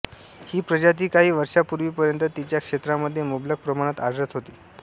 ही प्रजाती काही वर्षांपूर्वीपर्यंत तिच्या क्षेत्रामध्ये मुबलक प्रमाणात आढळत होती